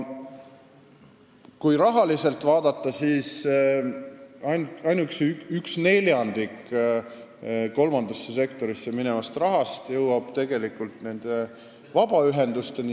Kui rahalist poolt vaadata, siis ainuüksi üks neljandik kolmandasse sektorisse minevast rahast jõuab tegelikult vabaühendusteni.